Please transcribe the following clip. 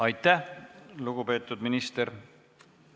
Aitäh, lugupeetud minister!